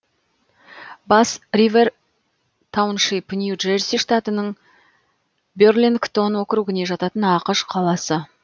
басс ривэр тауншип нью джерси штатының берлингтон округіне жататын ақш қаласы